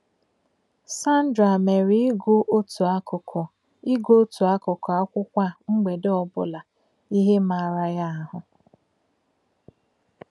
Sandra mere ịgụ otu akụkụ ịgụ otu akụkụ akwụkwọ a mgbede ọbụla ihe maara ya ahụ